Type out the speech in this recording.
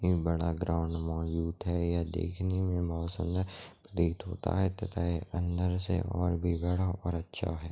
ए बड़ा ग्राउंड मौजूद है यह देखने में बहुत सुंदर प्रतीत होता है तथा ए अंदर से और भी बड़ा और अच्छा है।